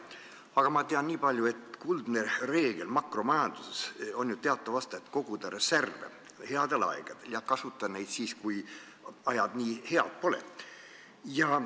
Aga ma tean nii palju, et kuldne reegel makromajanduses teatavasti on, et tuleb koguda reserve headel aegadel ja kasutada neid siis, kui ajad nii head pole.